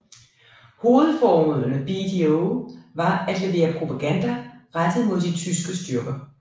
Hovedformålet med BDO var at levere propaganda rettet mod de tyske styrker